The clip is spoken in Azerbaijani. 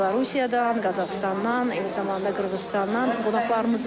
Belarusiyadan, Qazaxıstandan, eləcə də Qırğızıstandan qonaqlarımız var.